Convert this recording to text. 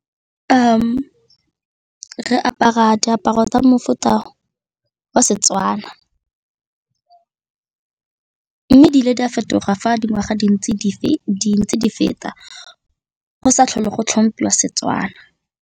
Re apara diaparo tsa mofuta wa Setswana mme ebile di a fetoga fa dingwaga di ntse di feta go sa tlhole go tlhomphiwa Setswana.